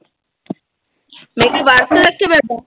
ਮੈਂ ਕਿਆ ਵਰਤ ਰੱਖਿਆ ਵਿਆ ਤੂੰ ।